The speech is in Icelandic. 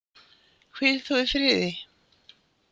Hvíl þú í friði.